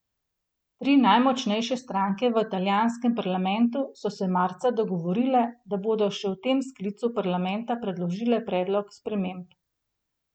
Tri najmočnejše stranke v italijanskem parlamentu so se marca dogovorile, da bodo še v tem sklicu parlamenta predložile predlog sprememb.